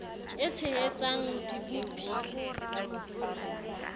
e tshehetsan g di bopil